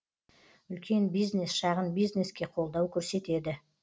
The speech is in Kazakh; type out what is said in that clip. үлкен бизнес шағын бизнеске қолдау көрсетеді